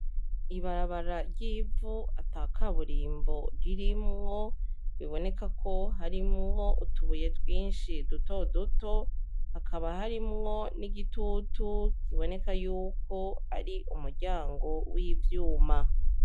Ibarabara ry' ivu atakaburimbo ririmwo biboneka ko harimwo utubuye twinshi duto duto hakaba harimwo n' igitutu kiboneka yuko ari umuryango w' ivyuma.